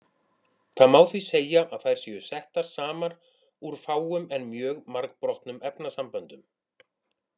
Það má því segja að þær séu settar saman úr fáum en mjög margbrotnum efnasamböndum.